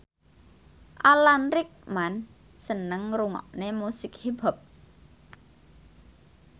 Alan Rickman seneng ngrungokne musik hip hop